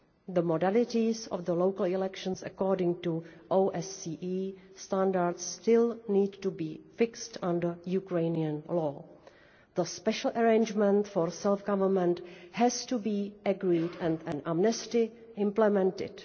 The modalities of the local elections according to OSCE standards still need to be fixed under Ukrainian law. The special arrangement for self government has to be agreed and an amnesty implemented.